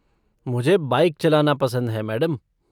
मुझे बाइक चलाना पसंद है, मैडम।